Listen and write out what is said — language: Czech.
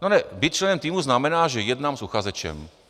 No ne, být členem týmu znamená, že jednám s uchazečem.